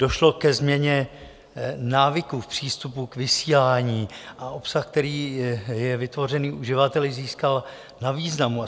Došlo ke změně návyků v přístupu k vysílání a obsah, který je vytvořen uživateli, získal na významu.